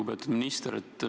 Lugupeetud minister!